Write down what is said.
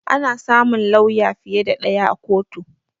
Ana samun lawya fiye da ɗaya a kotu